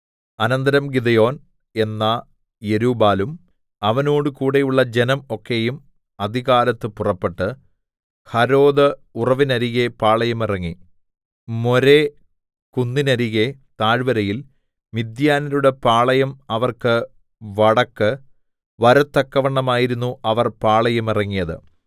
അനന്തരം ഗിദെയോൻ എന്ന യെരുബ്ബാലും അവനോടുകൂടെയുള്ള ജനം ഒക്കെയും അതികാലത്ത് പുറപ്പെട്ട് ഹരോദ് ഉറവിന്നരികെ പാളയമിറങ്ങി മോരേ കുന്നിന്നരികെ താഴ്വരയിൽ മിദ്യാന്യരുടെ പാളയം അവർക്ക് വടക്ക് വരത്തക്കവണ്ണമായിരുന്നു അവർ പാളയമിറങ്ങിയത്